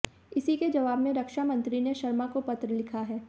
इसी के जवाब में रक्षामंत्री ने शर्मा को पत्र लिखा है